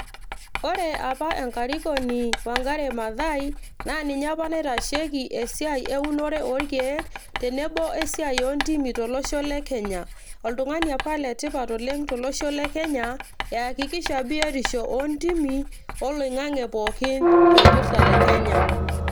ore apa enkarikoni wangari maathai, naa ninye apa naitasheiki esiai eunore oorkeek, tenebo we siai oo ntimi tolosho le kenya. oltungani apa le tipat oleng eyakikisha biotisho oontimi tolosho le kenya.